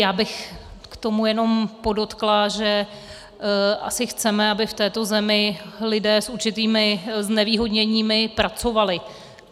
Já bych k tomu jenom podotkla, že asi chceme, aby v této zemi lidé s určitými znevýhodněními pracovali.